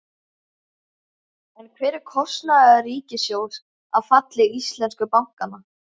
En hver er kostnaður ríkissjóðs af falli íslensku bankanna?